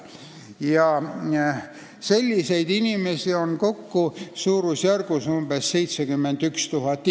Selliseid inimesi on kokku umbes 71 000.